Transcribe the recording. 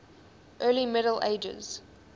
early middle ages